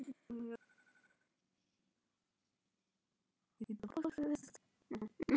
Grasið farið að grænka?